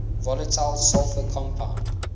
volatile sulfur compound